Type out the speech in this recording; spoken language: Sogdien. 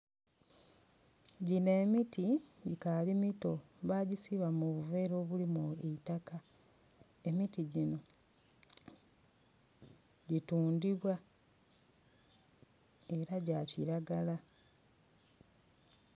Gino emiti gikaali mito bagisiba mu buvera obulimu eitaka. Emiti gino gitundhibwa era gya kiragala.